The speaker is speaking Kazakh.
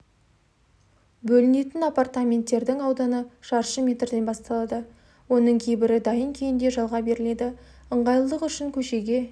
бөлінетін апартаменттердің ауданы шаршы метрден басталады оның кейбірі дайын күйінде жалға беріледі ыңғайлылық үшін көшеге